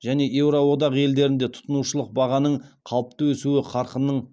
және еуроодақ елдерінде тұтынушылық бағаның қалыпты өсу қарқынының